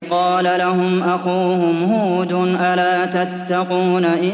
إِذْ قَالَ لَهُمْ أَخُوهُمْ هُودٌ أَلَا تَتَّقُونَ